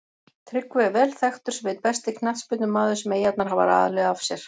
Tryggvi er vel þekktur sem einn besti knattspyrnumaður sem Eyjarnar hafa alið af sér.